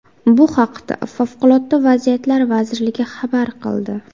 Bu haqda Favqulodda vaziyatlar vazirligi xabar qildi .